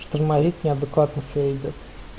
штурмовик неадекватно себя ведёт